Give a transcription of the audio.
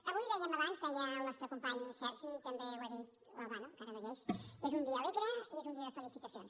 avui dèiem abans deia el nostre company sergi i també ho ha dit l’albano que ara no hi és és un dia alegre i és un dia de felicitacions